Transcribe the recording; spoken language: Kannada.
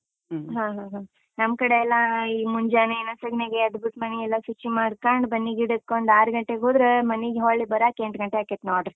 ಹಾ ಹಾ, ನಮ್ ಕಡೆ ಎಲ್ಲ ಈ ಮುಂಜಾನೆ ನಸುಗ್ನಾಗ್ ಎದ್ಬಿಟ್ಟು, ಮನೆಯೆಲ್ಲ ಶುಚಿ ಮಾಡ್ಕಂಡ್, ಬನ್ನಿ ಗಿಡಕ್ಕೊಂದ್ ಆರ್ ಗಂಟೆಗ್ ಹೋದ್ರೆ, ಮನೀಗ್‌ ಹೊರ್ಳಿ ಬರಾಕ್ ಎಂಟ್ ಗಂಟೆ ಆಕೈತ್ ನೋಡ್ರಿ.